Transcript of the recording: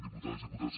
diputades diputats